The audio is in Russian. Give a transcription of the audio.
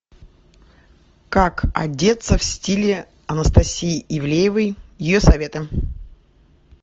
как одеться в стиле анастасии ивлеевой ее советы